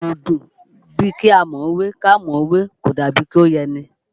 Gèlè ò dùn bíi ká mọ̀ ọ́ wé, ká mọ̀ ọ́ wé kò dàbí i kó yẹni